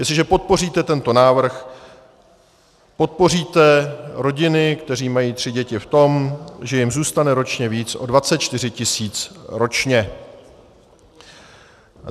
Jestliže podpoříte tento návrh, podpoříte rodiny, které mají tři děti, v tom, že jim zůstane ročně víc o 24 tisíc ročně.